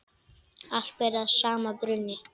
Allt ber að sama brunni.